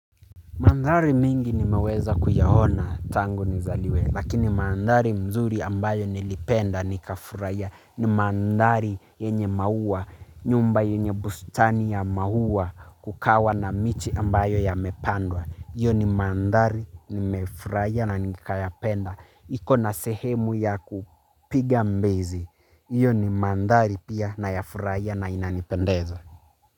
Manthari mingi nimeweza kuyaona tangu nizaliwe lakini manthari mzuri ambayo nilipenda nikafuraiya ni manthari yenye maua nyumba yenye bustani ya mahua kukawa na miche ambayo yamepandwa. Iyo ni manthari nimefuraiya na nikayapenda. Iko na sehemu ya kupiga mbizi. Iyo ni manthari pia nayafuraiya na inanipendeza.